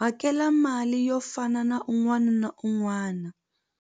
hakela mali yo fana na un'wana na un'wana.